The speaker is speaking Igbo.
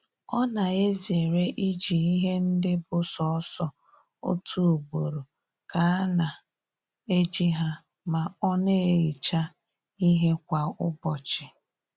Ọ na-ezere iji ihe ndị bụ sọọsọ otu ugboro ka a na eji ha ma ọ na-ehicha ihe kwa ụbọchị